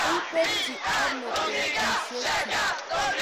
Koipetchi ano petusyek chu?